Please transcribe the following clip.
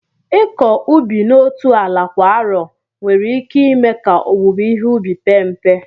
Ịkọ ubi n'otu ala kwa arọ nwere ike ime ka owuwe ihe ubi pee mpe